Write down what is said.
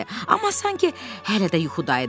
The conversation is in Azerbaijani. Amma sanki hələ də yuxuda idi.